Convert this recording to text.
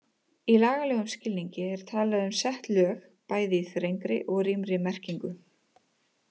Í lagalegum skilningi er talað um sett lög, bæði í þrengri og rýmri merkingu.